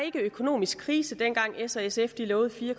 ikke økonomisk krise dengang s og sf lovede fire